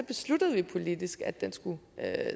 besluttede politisk at den skulle